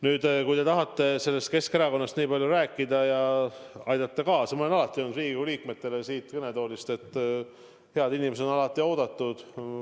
Nüüd, kui te tahate Keskerakonnast nii palju rääkida, siis ma olen alati öelnud Riigikogu liikmetele siit kõnetoolist, et head inimesed on alati appi oodatud.